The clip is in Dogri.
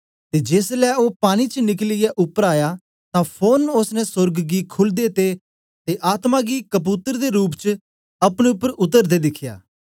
ते जेसलै ओ पानी च निकलियै उपर आया तां फोरन ओसने सोर्ग गी खुलदे ते आत्मा गी कबूतर दे रूप च अपने उपर उतरदे दिखया